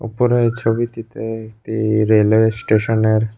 উপরে এই ছবিটিতে একটি রেলওয়ে স্টেশনের --